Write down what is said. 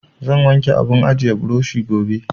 Zan wanke abun ajiye burushi gobe.